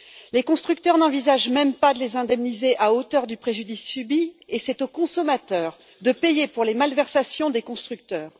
Les constructeurs n'envisagent même pas de les indemniser à hauteur du préjudice subi et c'est aux consommateurs de payer pour les malversations des constructeurs.